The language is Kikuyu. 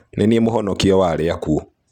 Nĩ niĩ mũvonokia wa arĩa akuũ.